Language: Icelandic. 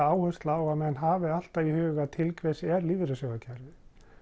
áherslu á að menn hafi það alltaf í huga til hvers er lífeyrissjóðakerfið